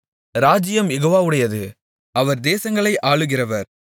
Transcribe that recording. ராஜ்ஜியம் யெகோவாவுடையது அவர் தேசங்களை ஆளுகிறவர்